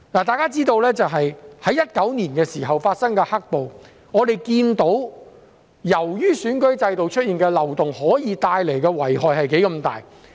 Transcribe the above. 大家知道，我們從2019年發生的"黑暴"看到，選舉制度出現漏洞可以帶來多大的遺害。